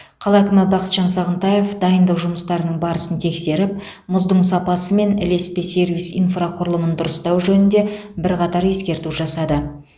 қала әкімі бақытжан сағынтаев дайындық жұмыстарының барысын тексеріп мұздың сапасы мен ілеспе сервис инфрақұрылымын дұрыстау жөнінде бірқатар ескерту жасады